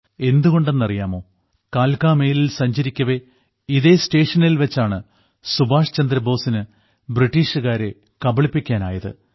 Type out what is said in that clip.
എന്തുകൊണ്ടെന്നറിയാമോ കാൽകാ മെയിലിൽ സഞ്ചരിക്കവേ ഇതേ സ്റ്റേഷനിൽ വെച്ചാണ് സുഭാഷ് ചന്ദ്രബോസിന് ബ്രിട്ടീഷുകാരെ കബളിപ്പിക്കാനായത്